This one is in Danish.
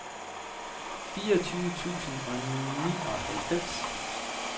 fireogtyve tusind og nioghalvfems